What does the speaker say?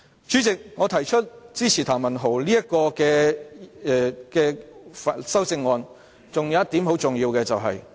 主席，我支持譚文豪議員的修正案，還有一個很重要的原因。